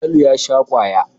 Falalu ya sha kwaya.